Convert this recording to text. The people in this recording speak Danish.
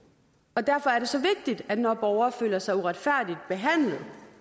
derfor er det så vigtigt at når borgere føler sig uretfærdigt behandlet